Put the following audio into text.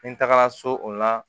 Ni n tagara so o la